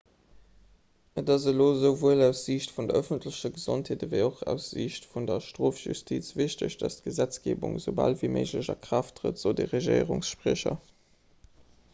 et ass elo esouwuel aus siicht vun der ëffentlecher gesondheet ewéi och aus siicht vun der strofjustiz wichteg datt d'gesetzgeebung esoubal ewéi méiglech a kraaft trëtt sot e regierungsspriecher